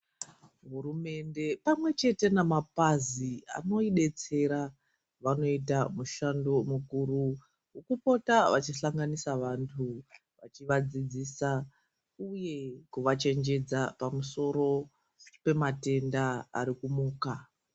Hurumende pamwechete namapazi anoidetsera vanoita mushando mukuru wekupota vachihlanganisa vanthu vachivadzidzisa uye kuvachenjedza pamusoro pematenda ari kumuka.